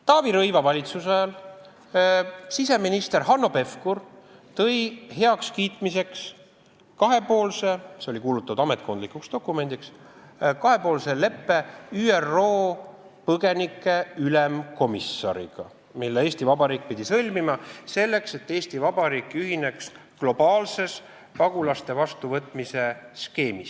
Taavi Rõivase valitsuse ajal tõi siseminister Hanno Pevkur valitsusse heakskiitmiseks kahepoolse leppe ÜRO põgenike ülemkomissariga, mille Eesti Vabariik pidi sõlmima, selleks et ühineda globaalse pagulaste vastuvõtmise skeemiga.